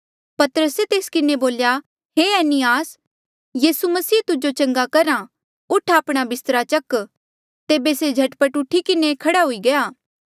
पतरसे तेस किन्हें बोल्या हे एनियास यीसू मसीह तुजो चंगा करहा उठ आपणा बिस्तरा चक तेबे से झट पट उठी किन्हें खड़ा हुई गया